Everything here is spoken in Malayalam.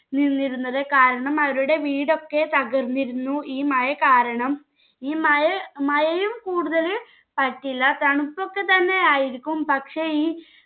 നിന്നിരുന്നത് കാരണം അവരുടെ വീടൊക്കെ തകർന്നിരുന്നു ഈ മഴ കാരണം. ഈ മായ മായയും കൂടുതല് പറ്റില്ല തണുപ്പൊക്കെ തന്നെ ആയിരിക്കും പക്ഷെ ഈ